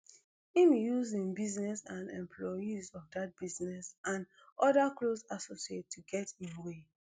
im use im business and employees of dat business and oda close associates to get im way